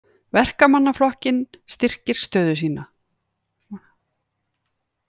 Verkamannaflokkinn styrkir stöðu sína